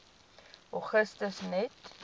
augustus net